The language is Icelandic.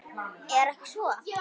Er ekki svo?